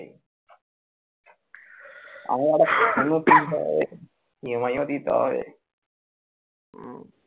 EMI ও দিতে হয়